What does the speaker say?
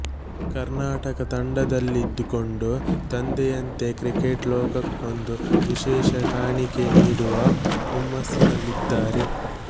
ಕರ್ನಾಟಕ ತಂಡದಲ್ಲಿದ್ದುಕೊಂಡು ತಂದೆಯಂತೆ ಕ್ರಿಕೇಟ್ ಲೋಕಕ್ಕೊಂದು ವಿಶೆಷ ಕಾಣಿಕೆ ನೀಡುವ ಹುಮ್ಮಸ್ಸಿನಲ್ಲಿದ್ದಾರೆ